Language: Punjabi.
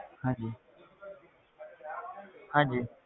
ਹਾਂਜੀ ਹਾਂਜੀ।